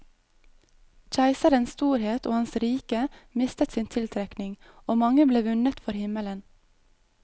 Keiserens storhet og hans rike mistet sin tiltrekning, og mange ble vunnet for himmelen.